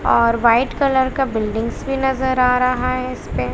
और white colour का buildings भी नजर आ रहा है इसपे--